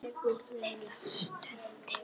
Lilla stundi.